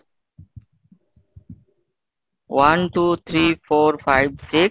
one, two, three, four, five six